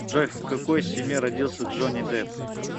джой в какой семье родился джонни депп